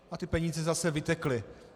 A ty peníze zase vytekly.